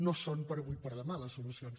no són d’avui per demà les solucions